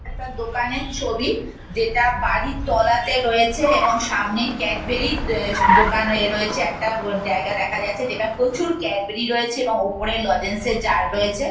একটা দোকানের ছবি যেটা বাড়ির তলাতে রয়েছে এবং সামনে ক্যাডবেরি দা দোকান এ রয়েছে | একটা আ জায়গা দেখা যাচ্ছে। যেটা প্রচুর ক্যাডবেরি রয়েছে এবং ওপরে লজেন্স -এর জার রয়েছে।